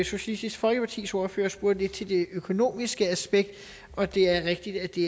socialistisk folkepartis ordfører spurgte lidt til det økonomiske aspekt og det er rigtigt at det